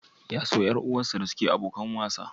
Ya so ƴar uwarsa da suke abokan wasa?